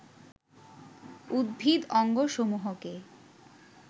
উদ্ভিদ অঙ্গসমূহকে